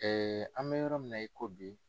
an bɛ yɔrɔ min na i ko bi.